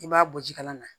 I b'a bɔ ji kala na